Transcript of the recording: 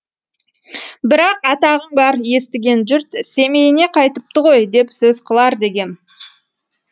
бірақ атағың бар естіген жұрт семейіне қайтыпты ғой деп сөз қылар дегем